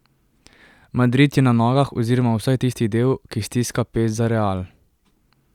Madrid je na nogah oziroma vsaj tisti del, ki stiska pest za Real.